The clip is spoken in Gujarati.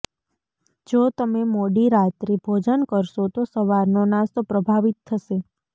જો તમે મોડી રાત્રે ભોજન કરશો તો સવારનો નાસ્તો પ્રભાવિત થશે